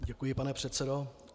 Děkuji, pane předsedo.